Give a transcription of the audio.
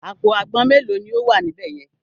Àpò àgbọn mélòó ni ó wà níbẹ̀ yẹn?